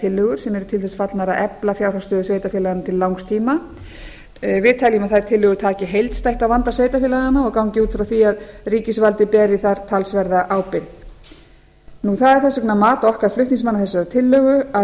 tillögur sem eru til þess fallnar að efla fjárhag sveitarfélaganna til langs tíma við teljum að þær tillögur taki heildstætt á vanda sveitarfélaganna og gangi út frá því að ríkisvaldið beri þar talsverða ábyrgð það er þess vegna mat okkar flutningsmanna þessarar tillögu að